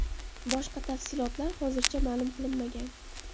Boshqa tafsilotlar hozircha ma’lum qilinmagan.